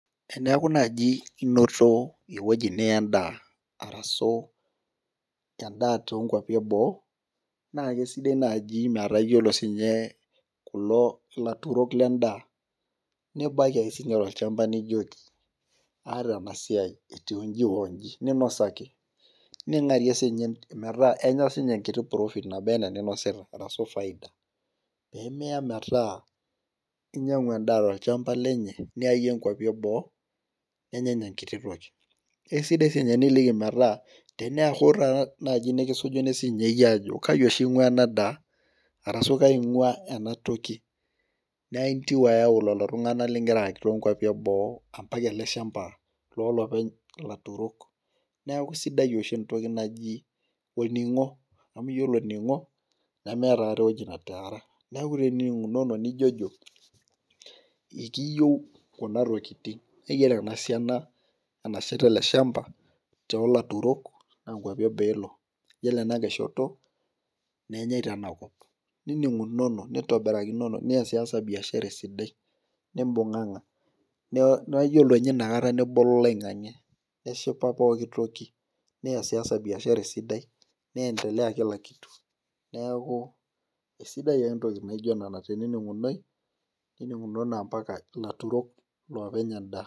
teneeku naaji inoto eweji niya edaa arasu edaa too inkuapi eboo naa kisidai naaji metaa iyiolo siiniche kulo laturok ledaa, nibaki ake siiniche tolchamba nijoki , aataa enasiai eitiuji oji, ning'arie siininye metaa kenya siininye enkiti profit nabaa enaa eninosita arasu faida , peemiya metaa kinyang'u edaa tolchamba lenye niya iyie inkuapi eboo nenya ninye enkititoki, kisidai naaji niliki siinye meetaa teneya naaji nikisujuni sii ninye iyie ajoki kaji oshi ing'uaa ena daa arasu kaji oshi ing'ua enatoki naa intieu ayau lelo tung'anak loonkuapi eboo, mpaka ele shamba lolopeny laturok neeku kisidai oshi entoki naaji olning'o, amu iyiolo oning'o nemeeta aikata eweji netaara neeku tini ning'unono nijojo ekiyieu kuna tokitin iyiolo ena siana eleshamba naa inkuapi eboo elo iyiolo enang'ae shoto naa kenyae tenakop nining'unono , nintobirakinono niyiolounono, nibung'ang'a ,naa iyiolo ninye inakata nebolo oloing'ang'e neshipa pooki toki niyasiyasa biashara esidai neendelea kila kitu sidai ake tenening'unono ompaka ilaturok iloopeny edaa.